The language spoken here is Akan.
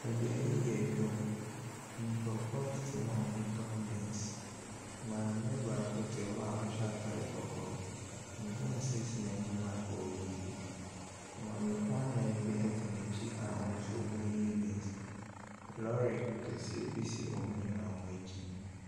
Beaeɛ yi yɛ edwa mu. Nkorɔfo tete hɔ a ɔretɔn beans. Maame baako te hɔ a ɔhyɛ ataade kɔkɔɔ. Beans esi n'anim a ɔreyiyi. Maamefoɔ anan bi ɛte nɛkyi a wɔn nso eyiyi beans. Lɔri kɛseɛ bi si wɔn nyinaa ɛkyi.